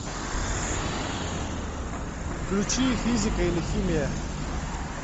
включи физика или химия